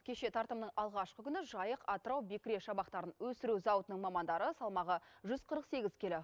кеше тартымның алғашқы күні жайық атырау бекіре шабақтарын өсіру зауытының мамандары салмағы жүз қырық сегіз келі